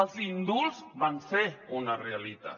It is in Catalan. els indults van ser una realitat